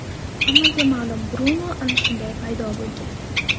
Hammaga ma’lum Brunu ana shunday paydo bo‘lgan.